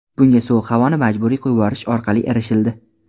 Bunga sovuq havoni majburiy yuborish orqali erishildi.